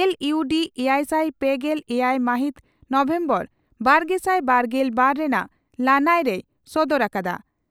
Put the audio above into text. L ᱤᱭᱩ ᱰᱤ ᱮᱭᱟᱭᱥᱟᱭ ᱯᱮᱜᱮᱞ ᱮᱭᱟᱭ ᱢᱟᱦᱤᱛ ᱱᱚᱵᱷᱮᱢᱵᱚᱨ ᱵᱟᱨᱜᱮᱥᱟᱭ ᱵᱟᱨᱜᱮᱞ ᱵᱟᱨ ᱨᱮᱱᱟᱜ ᱞᱟᱹᱱᱟᱹᱭ ᱨᱮᱭ ᱥᱚᱫᱚᱨ ᱟᱠᱟᱫᱼᱟ ᱾